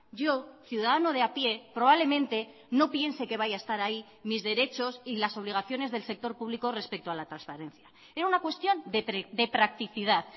yo ciudadano de a pie probablemente no piense que vaya a estar ahí mis derechos y las obligaciones del sector público respecto a la transparencia era una cuestión de practicidad